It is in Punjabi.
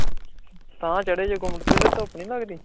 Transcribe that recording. ਤਾਂ ਚੜ੍ਹੇ ਤੇ ਤੇ ਧੁੱਪ ਨੀ ਲੱਗਦੀ?